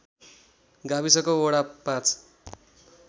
गाविसको वडा ५